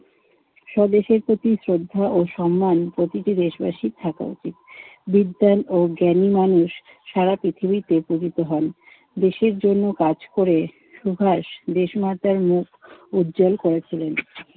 স্বদেশের প্রতি শ্রদ্ধা ও সম্মান প্রতিটি দেশবাসীর থাকা উচিত। বিদ্যান ও জ্ঞানী মানুষ সারা পৃথিবীতে পূজিত হন। দেশের জন্য কাজ করে সুভাষ দেশমাতার মুখ উজ্জ্বল করেছিলেন।